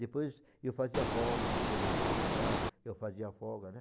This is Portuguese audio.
Depois eu fazia folga, quando ele quer folgar, eu fazia folga, né?